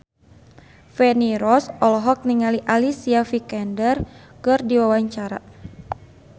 Feni Rose olohok ningali Alicia Vikander keur diwawancara